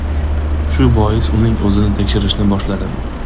Shu bois uning o‘zini tekshirishni boshladim.